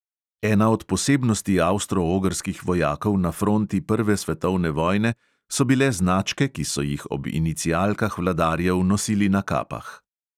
Ena od posebnosti avstro-ogrskih vojakov na fronti prve svetovne vojne so bile značke, ki so jih ob inicialkah vladarjev nosili na kapah.